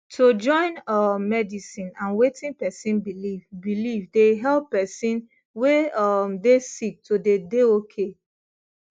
to join um medicine and wetin pesin believe believe dey help pesin wey um dey sick to dey dey okay